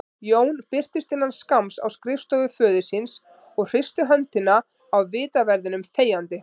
Jón birtist innan skamms á skrifstofu föður síns og hristi höndina á vitaverðinum þegjandi.